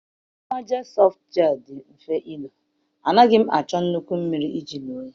amatem soft gel dị mfe ilo, anaghị m achọ nnukwu mmiri iji ilo ya.